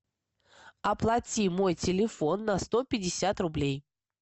оплати мой телефон на сто пятьдесят рублей